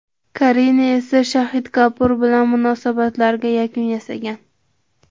Karina esa Shaxid Kapur bilan munosabatlariga yakun yasagan.